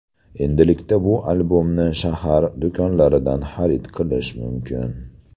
Endilikda bu albomni shahar do‘konlaridan xarid qilish mumkin.